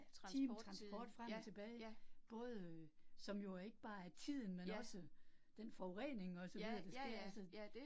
Time transport frem og tilbage, både øh som jo ikke bare er tiden, men også den forurening og så videre, der sker altså